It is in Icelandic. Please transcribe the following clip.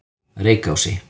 Reykási